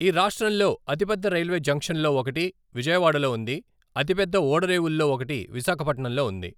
ఈ రాష్ట్రంలో అతిపెద్ద రైల్వే జంక్షన్ల్లో ఒకటి విజయవాడలో ఉంది, అతిపెద్ద ఓడరేవుల్లో ఒకటి విశాఖపట్నంలో ఉంది.